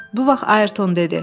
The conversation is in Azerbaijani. Bu vaxt Ayrton dedi.